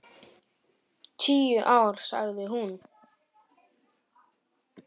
Tíu ár, sagði hún.